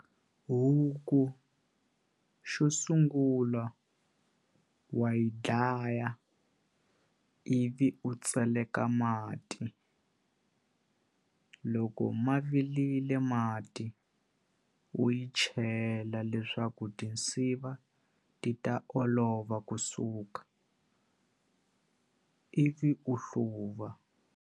Huku xo sungula wa yi dlaya ivi u tseleka mati loko ma vilile mati u yi chela leswaku tinsiva ti ta olova kusuka ivi u hluva.